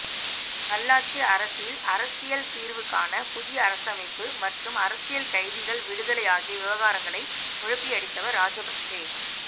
நல்லாட்சி அரசில் அரசியல் தீர்வுக்கான புதிய அரசமைப்பு மற்றும் அரசியல் கைதிகள் விடுதலை ஆகிய விவகாரங்களைக் குழப்பியடித்தவர்கள் ராஜபக்ச